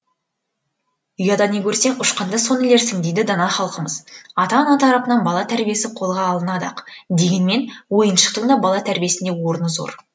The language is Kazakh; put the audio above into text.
ұяда не көрсең ұшқанда соны ілерсің дейді дана халқымыз ата ана тарапынан бала тәрбиесі қолға алынады ақ дегенмен ойыншықтың да бала тәрбиесіне орны зор